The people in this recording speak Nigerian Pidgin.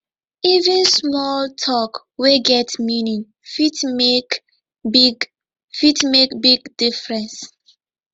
even small tok wey get meaning fit make big fit make big difference